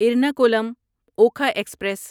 Ernakulam Okha express